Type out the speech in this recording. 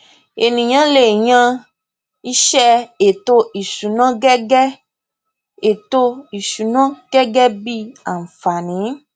ènìyàn le yan iṣẹ ètò ìsúná gẹgẹ ètò ìsúná gẹgẹ bí àǹfààní